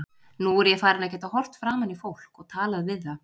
Nú er ég farin að geta horft framan í fólk og talað við það.